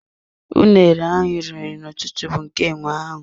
Unere ahụ iri n'ụtụtụ bụ nke enwe ahụ.